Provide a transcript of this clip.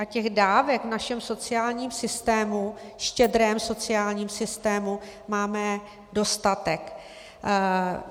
A těch dávek v našem sociálním systému, štědrém sociálním systému, máme dostatek.